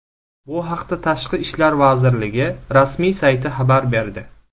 Bu haqda Tashqi ishlar vazirligi rasmiy sayti xabar berdi .